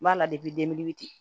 N b'a la